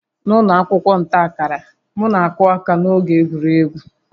N'ụlọ akwụkwọ nta akara, m na-akụ aka n'oge egwuregwu